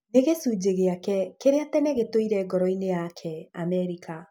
Nĩ gĩcunjĩ gĩake kĩrĩa tene gĩtũire ngoro-inĩ yake, Amerika